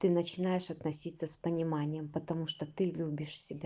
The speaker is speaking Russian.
ты начинаешь относиться с пониманием потому что ты любишь себя